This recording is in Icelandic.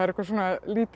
lítil